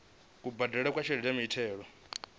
kubadelele kwa tshelede ya muthelo